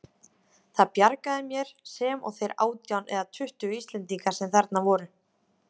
Það bjargaði mér, sem og þeir átján eða tuttugu Íslendingar sem þarna voru.